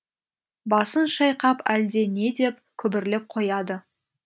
басын шайқап әлде не деп күбірлеп қояды